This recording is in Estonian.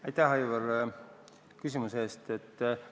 Aitäh, Aivar, küsimuse eest!